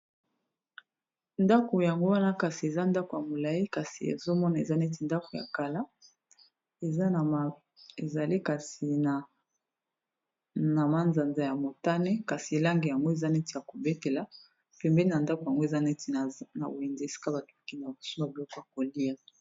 ndako yango wana kasi eza ndako ya molai kasi ezomona eza neti ndako ya kala ezali kasi na manzanza ya motane kasi elange yango eza neti ya kobetela pembeni ya ndako yango eza neti na boindi esika batooki na kosima biloko ya kolia